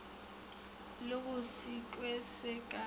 le ge sekhwi se ka